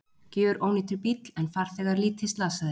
Gjörónýtur bíll en farþegar lítið slasaðir